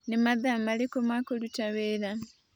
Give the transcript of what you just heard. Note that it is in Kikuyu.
Nĩ mathaa marĩkũ ma kũruta wĩra